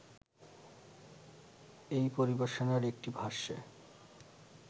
এই পরিবেশনার একটি ভাষ্যে